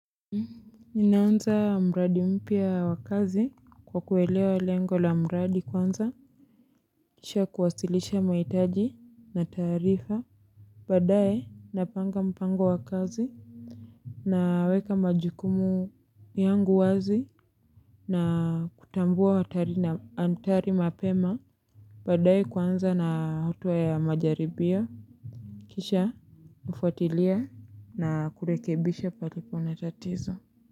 Ninaanza mradi mpya wa kazi kwa kuelewa lengo la mradi kwanza Kisha kuwasilisha mahitaji na taarifa baadaye napanga mpango wa kazi Naweka majukumu yangu wazi na kutambua hatari na athari mapema baadaye kwanza na hatua ya majaribio Kisha ufuatilia na kurekebisha palipo na tatizo.